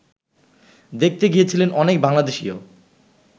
দেখতে গিয়েছিলেন অনেক বাংলাদেশিও